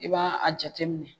I b'a a jateminɛ